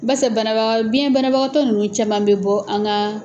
Bafɛ banaba, biɲɛ banabagatɔ nunnu caman bɛ bɔ an ka.